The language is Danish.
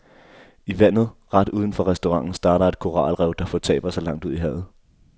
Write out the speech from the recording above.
I vandet ret uden for restauranten starter et koralrev, der fortaber sig langt ud i havet.